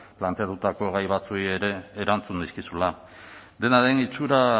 planteatutako gai batzuei ere erantzun nizkizula dena den itxura